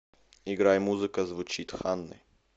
играй музыка звучит ханны